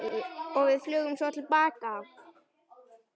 Og flugum svo til baka.